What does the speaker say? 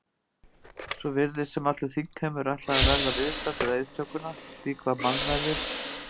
Svo virtist sem allur þingheimur ætlaði að verða viðstaddur eiðtökuna, slík var mannmergðin.